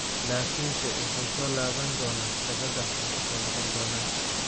Laakiinse wuxu laso laban donaa shabada wuu ku soo noqon doonaa.